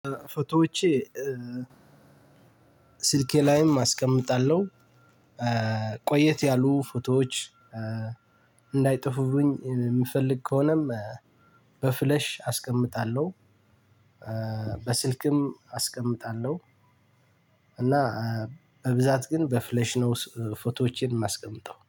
ፎቶዎቼ ስልኬ ላይም አስቀምጣለሁ። ቆየት ያሉ ፎቶዎች እንዳይጠፉብኝ የምፈልግ ከሆነም በፍለሽ አስቀምጣለሁ በስልክም አስቀምጣለሁ። እና በብዛት ግን በፍሌሽ ነው ፎቶዎቼን የማስቀምጠው